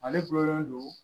Ale gulonlen don